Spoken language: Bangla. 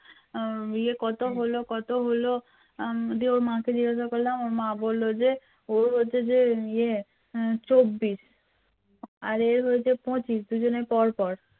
ওর হচ্ছে যে ইয়ে চব্বিশ আর এর হচ্ছে যে পঁচিশ দুজনের পরপর